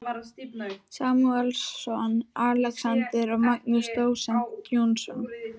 Samúelsson, Alexander og Magnús dósent Jónsson.